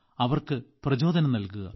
അവർക്ക് പ്രചോദനം നൽകുക